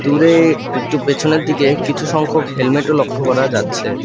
দূরে একটু পেছনের দিকে কিছু সংখ্যক হেলমেট -ও লক্ষ করা যাচ্ছে।